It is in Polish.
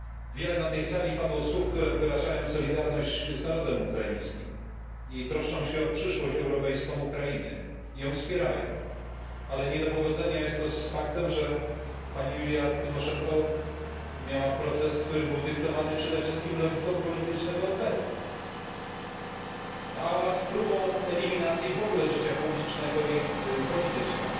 Wiele na tej sali padło słów, które wyrażają solidarność z narodem ukraińskim, troszczą się o europejską przyszłość Ukrainy i ją wspierają, ale nie do pogodzenia jest to z faktem, że pani Julia Tymoszenko miała proces, który był dyktowany przede wszystkim logiką politycznego odwetu oraz próbą eliminacji z życia publicznego i politycznego.